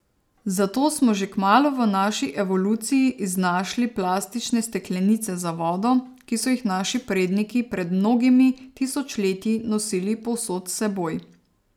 Zato smo že kmalu v naši evoluciji iznašli plastične steklenice za vodo, ki so jih naši predniki pred mnogimi tisočletji nosili povsod s seboj.